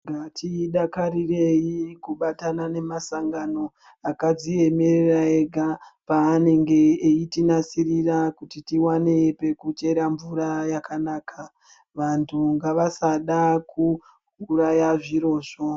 Ngatidakarirei kubatana nemasangano akadziemera ega, paanenge eitinasirira pekuti tiwane pekuchera mvura yakanaka. Vantu ngavasada kuuraya zvirozvo.